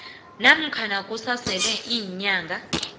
namkha kusasele iinyanga